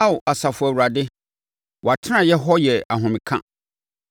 Ao Asafo Awurade, wʼatenaeɛ hɔ yɛ ahomeka!